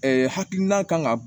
hakilina kan ka